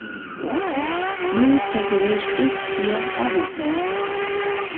Nú tekur við stutt hlé á hótelherbergi.